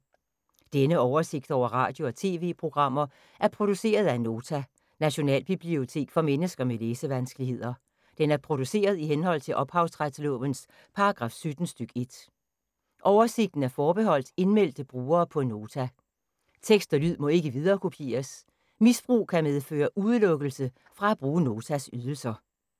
Denne oversigt over radio og TV-programmer er produceret af Nota, Nationalbibliotek for mennesker med læsevanskeligheder. Den er produceret i henhold til ophavsretslovens paragraf 17 stk. 1. Oversigten er forbeholdt indmeldte brugere på Nota. Tekst og lyd må ikke viderekopieres. Misbrug kan medføre udelukkelse fra at bruge Notas ydelser.